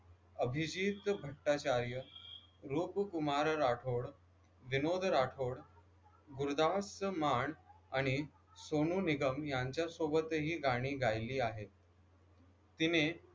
अभिजीत भट्टाचार्य, रूपकुमार राठोड, विनोद राठोड, गुरदास मान आणि सोनू निगम यांच्यासोबत ही गाणी गायली आहेत तिने